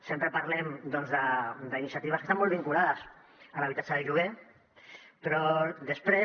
sempre parlem doncs d’iniciatives que estan molt vinculades a l’habitatge de lloguer però després